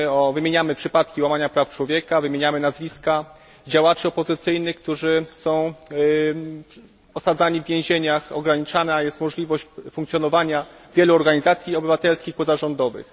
Wymieniamy przypadki łamania praw człowieka, wymieniamy nazwiska działaczy opozycyjnych, którzy są osadzani w więzieniach, ograniczana jest możliwość funkcjonowania wielu organizacji obywatelskich, pozarządowych.